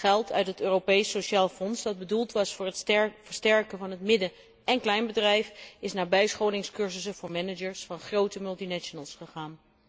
Geld uit het Europees Sociaal Fonds dat bedoeld was voor het versterken van het midden en kleinbedrijf, is naar bijscholingscursussen voor managers van grote multinationals gegaan.